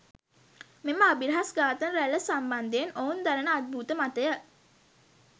මෙම අභිරහස් ඝාතන රැල්ල සම්බන්ධයෙන් ඔවුන් දරන අද්භූත මතය